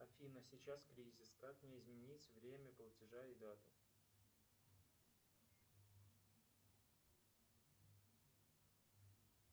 афина сейчас кризис как мне изменить время платежа и дату